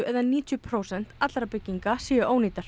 eða níutíu prósent allra bygginga séu ónýtar